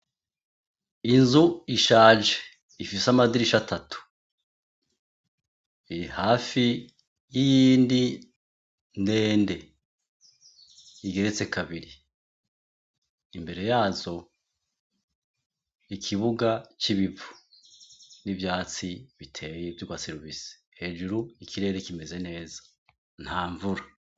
Inzu ishaje ifise amadirisha atatu. Irihafi y'iyindi ndende igeretse kabiri. Imbere yazo, ikibuga c'ibivu n'ivyatsi biteye vy'urwatsi rubisi, hejuru ikirere kimeze neza, ntamvura.